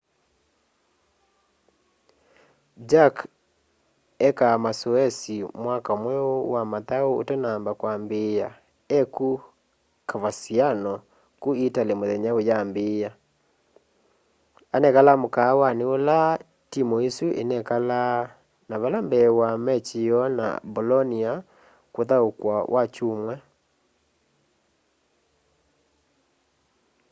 jarque eekaa masoesi mwaka mweu wa mathau utanamba kwambiia e ku coverciano ku italy muthenya uyambiia anekalaa mukaawani ula timu isu inekalaa na vala mbee wa machi yoo na bolonia kuthaukwa wakyumwa